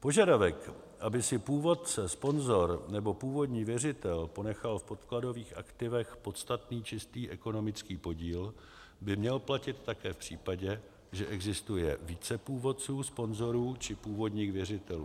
Požadavek, aby si původce, sponzor nebo původní věřitel ponechal v podkladových aktivech podstatný čistý ekonomický podíl, by měl platit také v případě, že existuje více původců, sponzorů či původních věřitelů.